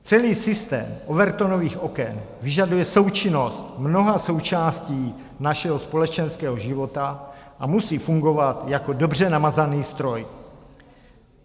Celý systém Overtonových oken vyžaduje součinnost mnoha součástí našeho společenského života a musí fungovat jako dobře namazaný stroj.